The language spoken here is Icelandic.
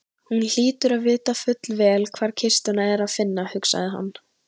Hún hlýtur að vita fullvel hvar kistuna er að finna, hugsaði hann.